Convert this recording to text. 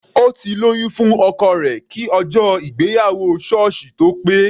Ó ti lóyún fún ọkọ rẹ̀ kí ọjọ́ ìgbéyàwó sọ́ọ̀sì tó pé.